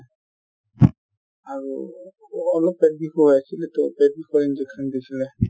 আৰু অলপ পেট বিষ হৈ আছিলে to পেট বিষৰ injection দিছিলে